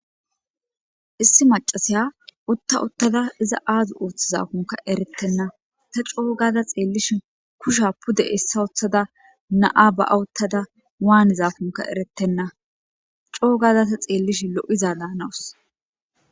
Issi macasiya utta uttada iza aazu uuththizafunka erettenna ta coo gada xeellishi kusha pude essa uththada na'a ba'awuttada waanizafunka erettenna coo gada ta xeellish lo'iza daanawus